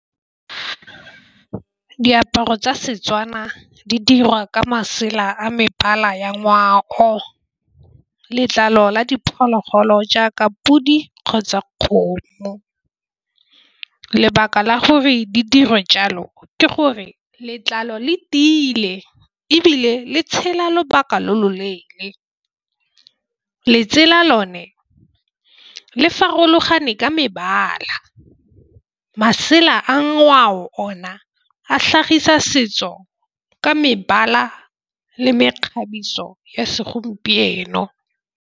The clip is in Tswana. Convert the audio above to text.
Diaparo tsa setswana di dirwa ka masela a mebala ya ngwao letlalo la diphologolo jaaka podi kgotsa kgomo. Lebaka la gore di dirwe jalo ke gore letlalo le tiile ebile le tshela lobaka lo loleele le tsela lone le farologane ka mebala masela a ngwao ona a tlhagisa setso ka mebala le mekgabiso ya segompieno.